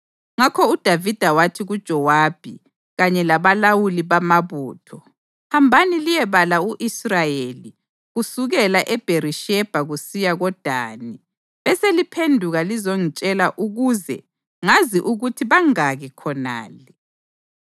Ngakho uDavida wathi kuJowabi kanye labalawuli bamabutho, “Hambani liyebala u-Israyeli kusukela eBherishebha kusiya koDani. Beseliphenduka lizongitshela ukuze ngazi ukuthi bangaki khonale.”